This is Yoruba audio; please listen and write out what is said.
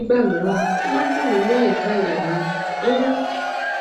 nígbà mìíràn ó máa ń dunni ní àyíká àyà mi um